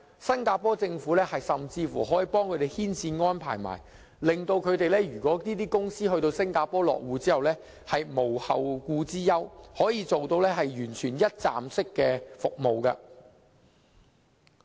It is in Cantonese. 新加坡政府甚至幫他們牽線安排，令船公司在新加坡落戶後無後顧之憂，可以提供完全一站式服務。